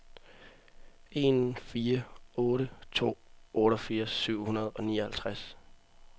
en fire otte to otteogfirs syv hundrede og nioghalvtreds